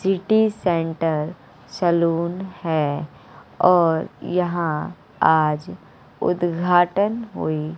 City centre salon है और यहां आज उद्घाटन हुई।